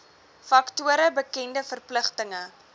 faktore bekende verpligtinge